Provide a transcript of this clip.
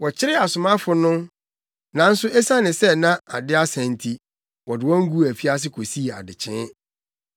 Wɔkyeree asomafo no, nanso esiane sɛ na ade asa nti, wɔde wɔn guu afiase kosii adekyee.